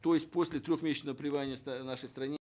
то есть после трехмесячного пребывания в нашей стране